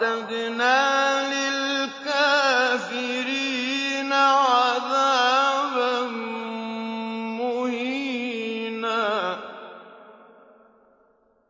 وَأَعْتَدْنَا لِلْكَافِرِينَ عَذَابًا مُّهِينًا